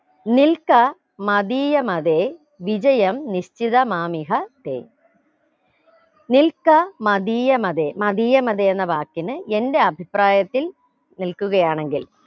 നിൽക്ക മതീയമതെ വിജയം നിശ്ചിതമാമിഹ തെ നിൽക്ക മതീയമതെ മതീയമതെ എന്ന വാക്കിന് എന്റെ അഭിപ്രായത്തിൽ നിൽക്കുകയാണെങ്കിൽ